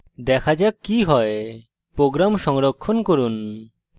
দেখা যাক কি হয় program সংরক্ষণ করুন